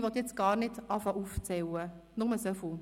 Ich will gar nicht anfangen aufzuzählen, nur so viel: